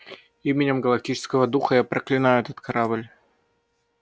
именем галактического духа я проклинаю этот корабль